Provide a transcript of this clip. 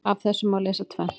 Af þessu má lesa tvennt.